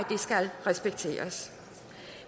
skal respekteres